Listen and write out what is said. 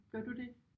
Gør du det?